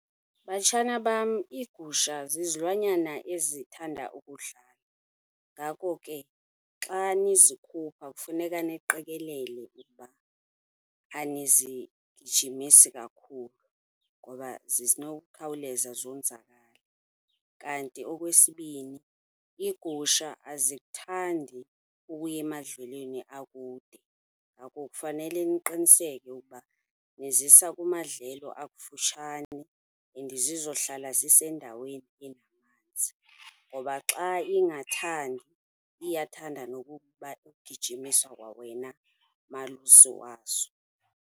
Batshana bam, iigusha zizilwanyana ezithanda ukudlala. Ngako ke, xa nizikhupha kufuneka niqikelele ukuba anizigijimisi kakhulu ngoba zinowukhawuleza zonzakale. Kanti okwesibini, iigusha azikuthandi ukuya emadlelweni akude, ngako kufanele niqiniseke ukuba nizisa kumadlelo akufutshane and zizohlala zisendaweni enamanzi ngoba xa ingathandi iyathanda nokuba ugijimiswa kwawena malusi wazo.